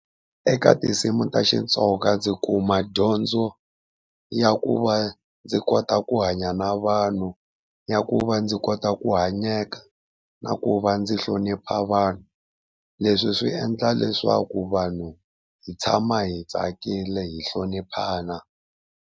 Eka tinsimu ta Xitsonga ndzi kuma dyondzo ya ku va ndzi kota ku hanya na vanhu, ya ku va ndzi kota ku hanyeka, na ku va ndzi hlonipha vanhu. Leswi swi endla leswaku vanhu hi tshama hi tsakile hi hloniphana.